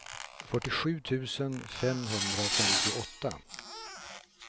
fyrtiosju tusen femhundrafemtioåtta